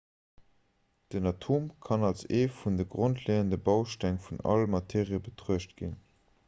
den atom kann als ee vun de grondleeënde bausteng vun all materie betruecht ginn